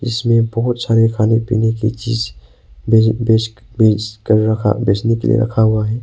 इसमें बहुत सारे खाने पीने की चीज बेच बेचने के लिए रखा हुआ है।